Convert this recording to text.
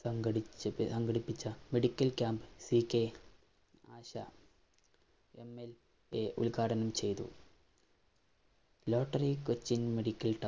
സംഘടിച്ച സംഘടിപ്പിച്ച medical camp C K Asha MLA ഉത്ഘാടനം ചെയ്തു Rottery കൊച്ചിന്‍